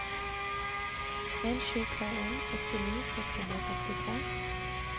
en sju tre en sekstini seks hundre og sekstitre